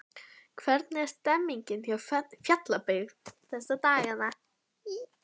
Hvernig er stemningin hjá Fjarðabyggð þessa dagana?